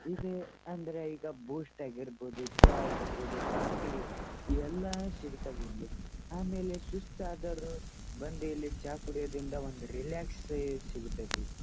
ಇದು ಅಂದ್ರೆ ಈಗ ಬೂಸ್ಟ್ ಆಗಿರ್ಬಹುದು ಚಾ ಆಗಿರ್ಬಹುದು ಕಾಫೀ ಎಲ್ಲ ಸಿಗ್ತಾವೆ ಇಲ್ಲಿ ಆಮೇಲೆ ಸುಸ್ತಾದವರು ಬಂದು ಇಲ್ಲಿ ಚಾ ಕುಡಿಯುದರಿಂದ ಒಂದು ರಿಲ್ಯಾಕ್ಸ್ ಸಿಗ್ತತಿ.